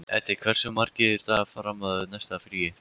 Eddi, hversu margir dagar fram að næsta fríi?